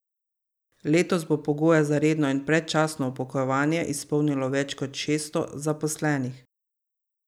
Letos bo pogoje za redno in predčasno upokojevanje izpolnilo več kot šeststo zaposlenih.